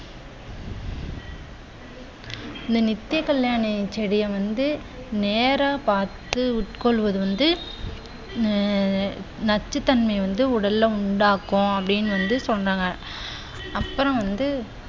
இந்த நித்தியகல்யாணி செடியை வந்து நேரா பார்த்து உட்கொள்வது வந்து ஆஹ் நச்சுத்தன்மை வந்து உடல்ல உண்டாகும் அப்படின்னு வந்து சொன்னாங்க. அப்புறம் வந்து